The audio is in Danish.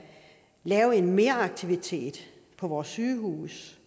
lave en meraktivitet på vores sygehuse